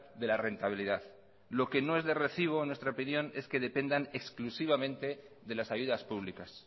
de la rentabilidad lo que no es de recibo en nuestra opinión es que dependan exclusivamente de las ayudas públicas